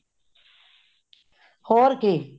ਹੋਰ ਕੀ